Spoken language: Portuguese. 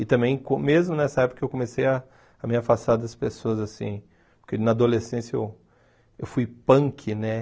E também, mesmo nessa época, eu comecei a a me afastar das pessoas, assim, porque na adolescência eu eu fui punk, né?